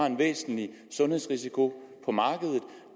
en væsentlig sundhedsrisiko på markedet